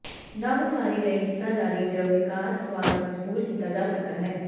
ਨਵ ਉਸਾਰੀ ਲਈ ਹਿੱਸਾ ਜਾਰੀ ਜ ਵਿਕਾਸਵਾਦ ਮਜਬੂਰ ਕੀਤਾ ਜਾ ਸਕਦਾ ਹੈ